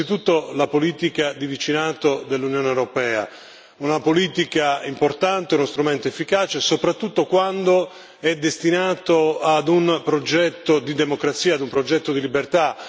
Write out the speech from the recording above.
Innanzitutto la politica di vicinato dell'Unione europea, una politica importante, uno strumento efficace, soprattutto quando è destinato ad un progetto di democrazia, ad un progetto di libertà.